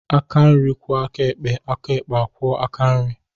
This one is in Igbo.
Aka nri kwọọ aka ekpe, aka ekpe akwọọ aka nri